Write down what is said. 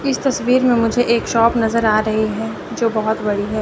इस तस्वीर में मुझे एक शॉप नजर आ रही है जो बहोत बड़ी है।